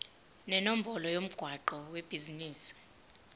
nenombolo yomgwaqo webhizinisi